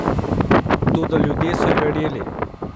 Toda ljudje so verjeli.